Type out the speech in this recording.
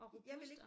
Jeg vil ikke